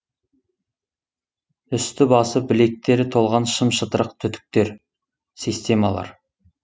үсті басы білектері толған шым шытырық түтіктер системалар